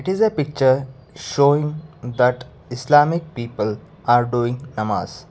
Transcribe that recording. it is picture showing that islamic people are doing namaz.